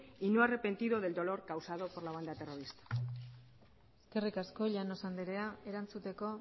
y no arrepentido del dolor causado en la banda terrorista eskerrik asko llanos andrea erantzuteko